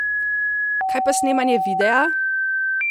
Kaj pa snemanje videa?